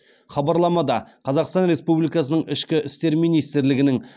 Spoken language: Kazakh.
хабарламада қазақстан республикасының ішкі істер министрлігінің